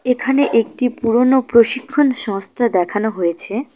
এখানে একটি পুরনো প্রশিক্ষণ সংস্থা দেখানো হয়েছে।